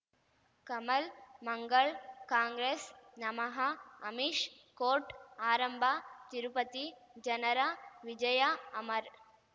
ಕಮಲ್ ಮಂಗಳ್ ಕಾಂಗ್ರೆಸ್ ನಮಃ ಅಮಿಷ್ ಕೋರ್ಟ್ ಆರಂಭ ತಿರುಪತಿ ಜನರ ವಿಜಯ ಅಮರ್